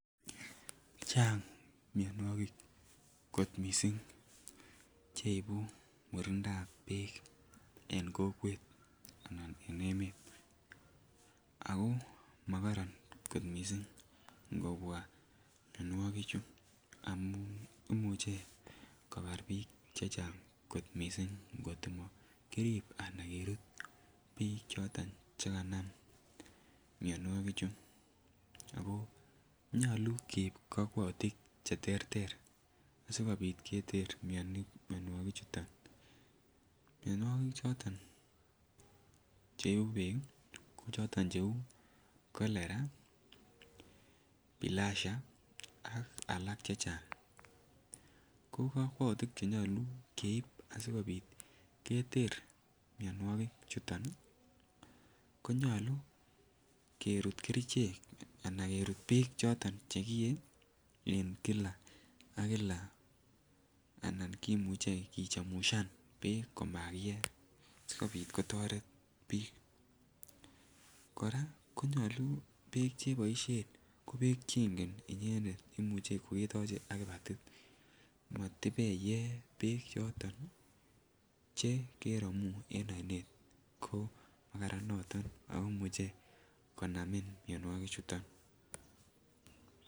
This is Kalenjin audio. Chang mionwogik kot mising Che ibu murindab ab bek en kokwet anan en emet ako mokoron mising ngobwa mianwogichu amun imuche kobar bik chechang kot mising angot komokirib Anan kerut bik choton Che kanam mianwogichu ago nyolu keib kokwoutik Che terter asikobit keter mianwogik chuto mianwogik choton Che ibu bek ko choton cheu cholera bilharzia ak alak Che Chang ko kokwoutik Che nyolu keib asikobit keter mianwogik chuto ko nyolu kerut bik choton chekiyee en kila ak kila Anan kimuche kichamushan bek komakiye asikobit kotoret bik kora konyolu bek Che boisien ko bek Che boisien inyendet ko Imuch ko ketoche ak kipatit komatibeye Che keromu en oinet ko makararan noto ako imuche konamin mianwogichuto